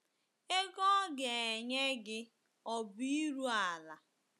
Ego ọ ga - enye gị obi iru ala?